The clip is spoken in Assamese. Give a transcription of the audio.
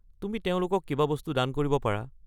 তুমি তেওঁলোকক কিবা বস্তু দান কৰিব পাৰা।